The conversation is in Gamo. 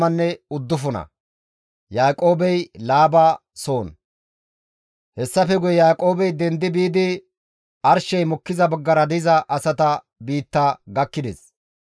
Hessafe guye Yaaqoobey dendi biidi arshey mokkiza baggara diza asata dere gakkides.